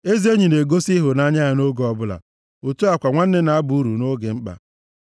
Ezi enyi na-egosi ịhụnanya ya nʼoge ọbụla. Otu a kwa, nwanne na-aba uru nʼoge mkpa.